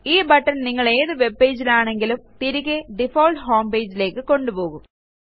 ഈ ബട്ടൺ നിങ്ങളേതു webpageൽ ആണെങ്കിലും തിരികെ ഡിഫോൾട്ട് ഹോം pageലേയ്ക്ക് കൊണ്ടുപോകും